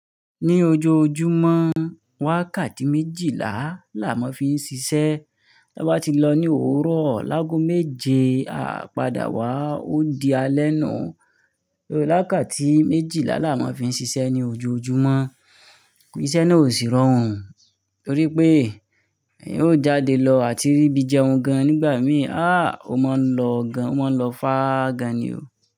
Ní ojoojúmọ́, wákati méjìlá làá maa fi n ṣiṣẹ́. Ti a bá ti lọ ní òwúrọ̀, láágo méje a padà wá, ó di alẹ́ ná. Wakatí méjìlá làá mo fi n ṣiṣẹ́ ní ojoojúmọ́. Iṣẹ́ náà ò sì rọrùn torí pé eyan ó jáde lọ àti rí bí jẹun gan nígbà míì. Àá! Ó mọ lọ gan, ó mọ lọ fá gan ni o.